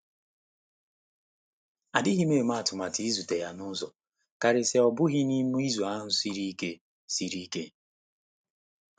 Adịghị m eme atụmatụ ịzute ya n'uzọ, karịsịa ọ bụghị n'i me izu ahụ siri ike. siri ike.